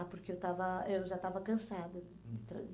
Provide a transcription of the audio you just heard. Ah, porque eu estava eu já estava cansada de...